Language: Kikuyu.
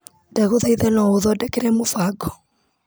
Ndagũthaitha no ũthondekere mũbango .